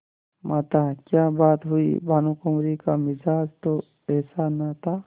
माताक्या बात हुई भानुकुँवरि का मिजाज तो ऐसा न था